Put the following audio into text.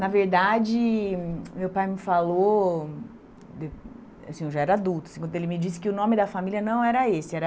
Na verdade, meu pai me falou, de assim eu já era adulta, quando ele me disse que o nome da família não era esse, era...